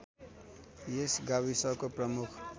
यस गाविसको प्रमुख